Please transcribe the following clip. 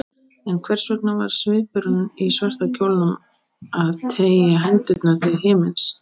En hvers vegna var svipurinn í svarta kjólnum að teygja hendurnar til himins?